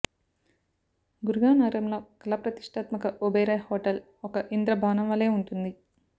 గుర్గావ్ నగరంలో కల ప్రతిష్టాత్మక ఒబెరాయ్ హోటల్ ఒక ఇంద్ర భవనంవలె వుంటుంది